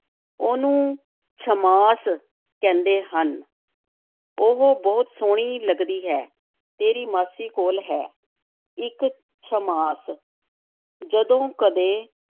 ਉਹਨੂੰ ਛੱਮਾਸ ਕਹਿੰਦੇ ਹਨ, ਉਹ ਬਹੁਤ ਸੋਹਣੀ ਲੱਗਦੀ ਹੈ, ਤੇਰੀ ਮਾਸੀ ਕੋਲ ਹੈ, ਇੱਕ ਛੱਮਾਸ ਜਦੋਂ ਕਦੇ